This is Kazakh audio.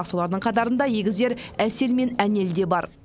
солардың қатарында егіздер әсел мен әнел де бар